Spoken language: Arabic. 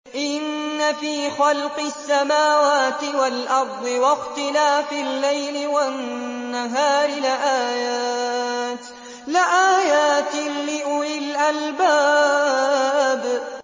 إِنَّ فِي خَلْقِ السَّمَاوَاتِ وَالْأَرْضِ وَاخْتِلَافِ اللَّيْلِ وَالنَّهَارِ لَآيَاتٍ لِّأُولِي الْأَلْبَابِ